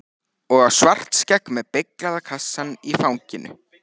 Og á Svartskegg með beyglaða kassann í fanginu.